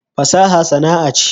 fasaha sana'a ce